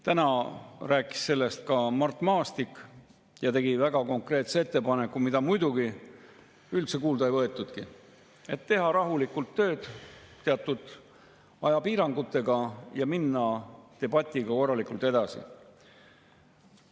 Täna rääkis sellest ka Mart Maastik ja tegi väga konkreetse ettepaneku, mida muidugi üldse kuulda ei võetud: teha rahulikult tööd teatud ajapiirangutega ja minna debatiga korralikult edasi.